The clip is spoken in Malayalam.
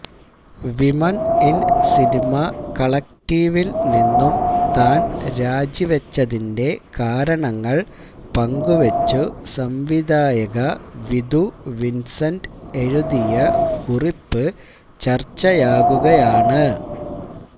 വിമന് ഇന് സിനിമ കളക്ടീവില് നിന്നും താന് രാജിവച്ചതിന്റെ കാരണങ്ങള് പങ്കുവച്ചു സംവിധായക വിധു വിന്സെന്റ് എഴുതിയ കുറിപ്പ് ചര്ച്ചയാകുകയാണ്